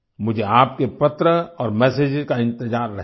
मुझे आपके पत्र और मेसेजेज का इंतज़ार रहेगा